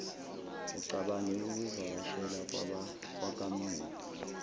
ucabange ukuvakashela kwakamuva